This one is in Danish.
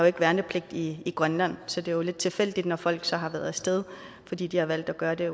ikke værnepligt i grønland så det er jo lidt tilfældigt når folk så har været af sted fordi de har valgt at gøre det